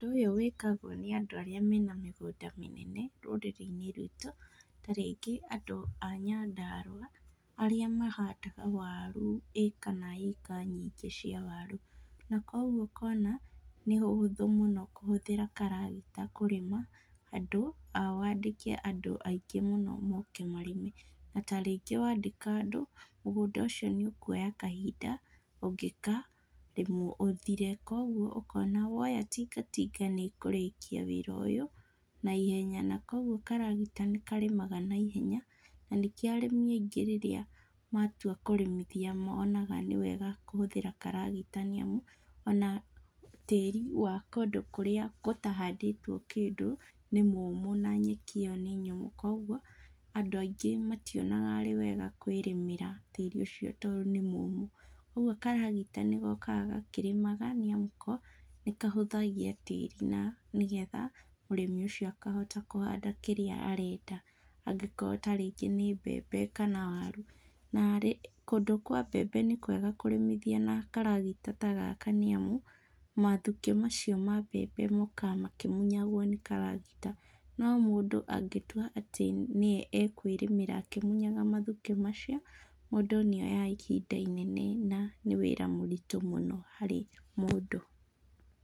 Ũndũ ũyũ wĩkagwo nĩ andũ arĩa mena mĩgũnda mĩnene rũrĩrĩ-inĩ writũ, ta rĩngĩ andũ a Nyandarũa, arĩa mahandaga waru ĩka na ĩka nyingĩ cia waru, na kuoguo ũkona nĩũhũthũ mũno kũhũthĩra karagita kũrĩma handũ ha wandĩke andũ aingĩ mũno moke marĩme. Na, ta rĩngĩ wandĩka andũ, mũgũnda ũcio nĩũkuoya hahinda ũngĩkarĩmwo ũthire, kuoguo ũkona woya tinga tinga nĩĩũrĩkia wĩra ũyũ naihenya, na kuoguo karagita nĩkarĩmaga naihenya na nĩkĩo arĩmi aingĩ rĩrĩa matua kũrĩmithia monaga nĩwega kũhũthĩra karagita nĩamu ona tĩri wa kũndũ kũrĩa gũtahandĩtwo kĩndũ nĩ mũmũ na nyeki ĩyo nĩ nyũmũ, kuoguo andũ aingĩ mationaga arĩ wega kwĩrĩmĩra tĩri ũcio tondũ nĩmũmũ. Ũguo karagita nĩgokaga gakĩrĩmaga nĩamu ko nĩkahũthagia tĩri na nĩgetha mũrĩmi ũcio akahota kũhanda kĩrĩa arenda, angĩkorwo ta rĩngĩ nĩ mbembe kana waru narĩ. Kũndũ kwa mbembe nĩ kwega kũrĩmithia na karagita ta gaka nĩamu mathukĩ macio ma mbembe mokaga makĩmunyagwo nĩ karagita, no mũndũ angĩtua atĩ nĩe ekwĩrĩmĩra akĩmunyaga mathukĩ macio, mũndũ nĩoyaga ihinda inene na nĩ wĩra mũritũ mũno harĩ mũndũ.